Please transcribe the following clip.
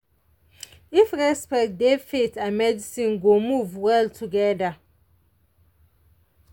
if respect dey faith and medicine go move well together.